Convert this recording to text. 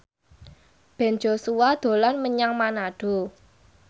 Ben Joshua dolan menyang Manado